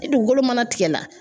Ni dugukolo mana tigɛla